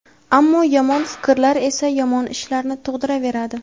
ammo yomon fikrlar esa yomon ishlarni tug‘diraveradi.